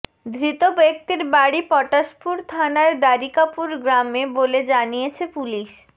ধৃত ব্যক্তির বাড়ি পটাশপুর থানার দ্বারিকাপুর গ্রামে বলে জানিয়েছে পুলিশ